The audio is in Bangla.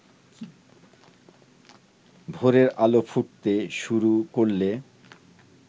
ভোরের আলো ফুটতে শুরু করলে